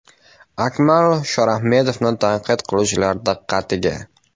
Akmal Shorahmedovni tanqid qiluvchilar diqqatiga.